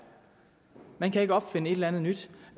man kan ikke opfinde et eller andet nyt